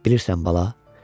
Bilirsən, bala?